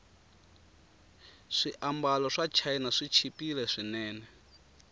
swiambalo swachina swichipile swinene